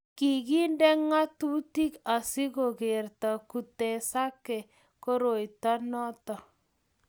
kikinde ng'atutik asikukerta kutesaka koroito noto